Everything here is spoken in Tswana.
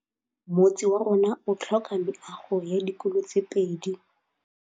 Motse warona o tlhoka meago ya dikolô tse pedi.